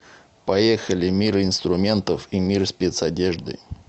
поехали мир инструментов и мир спецодежды